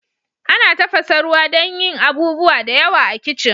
Ana tafasa ruwa dan yin abubuwa da yawa a kitchen.